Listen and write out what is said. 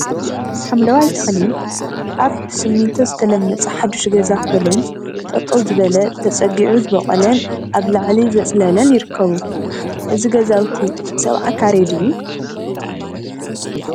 ሓምለዋይ ተክሊ አብ ብስሚንቶ ዝተለመፀ ሓዱሽ ገዛ ኮለን ጠጠው ዝበለ ተፀጊዑ ዝበቆለን አብ ላዕሊ ዘፅለለን ይርከቡ፡፡ እዚ ገዛውቲ ሰብዓ ካሬ ድዩ?